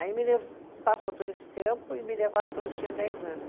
Aí me le, passou todo esse tempo e me levaram quando eu tinha dez anos.